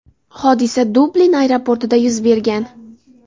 Hodisa Dublin aeroportida yuz bergan.